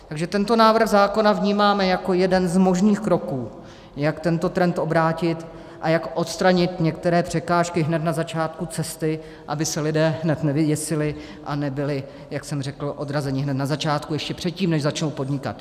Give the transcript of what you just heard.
Takže tento návrh zákona vnímáme jako jeden z možných kroků, jak tento trend obrátit a jak odstranit některé překážky hned na začátku cesty, aby se lidé hned nevyděsili a nebyli, jak jsem řekl, odrazeni hned na začátku, ještě předtím, než začnou podnikat.